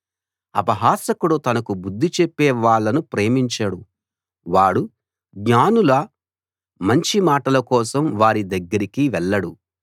అపహాసకుడు తనకు బుద్ధి చెప్పే వాళ్ళను ప్రేమించడు వాడు జ్ఞానుల మంచి మాటల కోసం వారి దగ్గరికి వెళ్లడు